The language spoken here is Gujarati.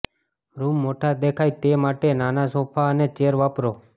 રૂમ મોટા દેખાય તે માટે નાના સોફા અને ચેર વાપરો